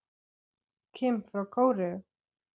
Kim frá Kóreu